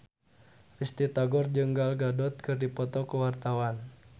Risty Tagor jeung Gal Gadot keur dipoto ku wartawan